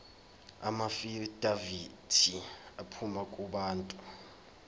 amaafidavithi aphuma kubantu